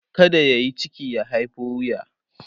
kada yayi ciki ya haiho wuya